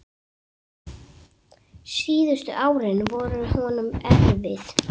Síðustu árin voru honum erfið.